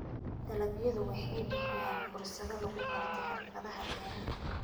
Dalagyadu waxay bixiyaan fursado lagu barto xirfadaha beeraha.